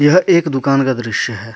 यह एक दुकान का दृश्य है।